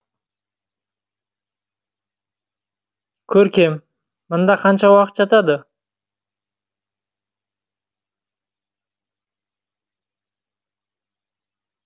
көркем мында қанша уақыт жатады